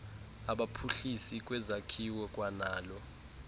abaphuhlisi bezakhiwo kwanalo